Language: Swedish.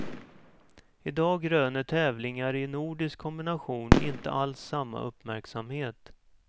I dag röner tävlingar i nordisk kombination inte alls samma uppmärksamhet.